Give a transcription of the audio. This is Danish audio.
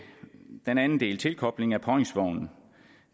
den anden del tilkobling af påhængsvogn